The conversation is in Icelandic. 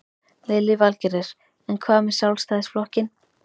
Lillý Valgerður: En hvað með Sjálfstæðisflokkinn?